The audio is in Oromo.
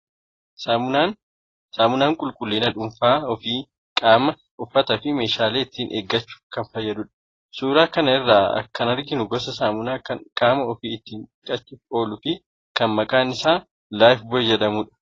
Saamunaan qulqullina dhuunfaa ofii(qaamaa, uffataa fi meeshaalee) ittiin eeggachuuf kan fayyadudha. Suuraa kana irraa kan arginu gosa saamunaa kan qaamaa ofii ittiin dhiqachuuf ooluu fi kan maqaan isaa 'Lifeboy' jedhamu dha.